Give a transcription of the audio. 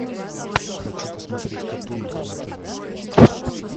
хочу посмотреть катун на тв